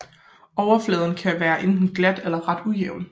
Overfladen kan være enten glat eller ret ujævn